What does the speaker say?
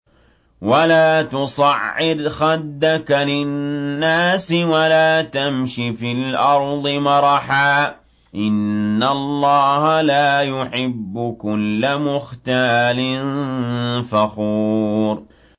وَلَا تُصَعِّرْ خَدَّكَ لِلنَّاسِ وَلَا تَمْشِ فِي الْأَرْضِ مَرَحًا ۖ إِنَّ اللَّهَ لَا يُحِبُّ كُلَّ مُخْتَالٍ فَخُورٍ